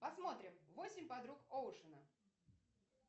посмотрим восемь подруг оушена